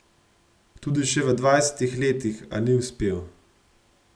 Tudi še v dvajsetih letih, a ni uspel.